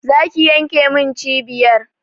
Za ki yanmnke cibiyar!